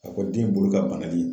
A ko den bolo ka banali.